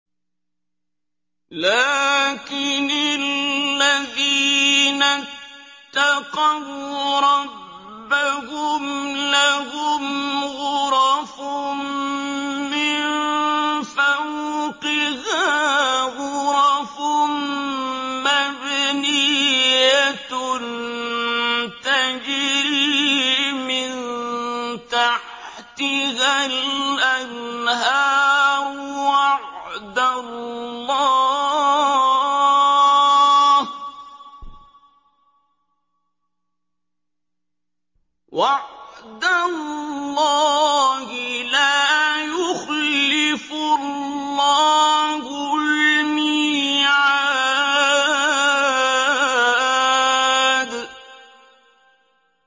لَٰكِنِ الَّذِينَ اتَّقَوْا رَبَّهُمْ لَهُمْ غُرَفٌ مِّن فَوْقِهَا غُرَفٌ مَّبْنِيَّةٌ تَجْرِي مِن تَحْتِهَا الْأَنْهَارُ ۖ وَعْدَ اللَّهِ ۖ لَا يُخْلِفُ اللَّهُ الْمِيعَادَ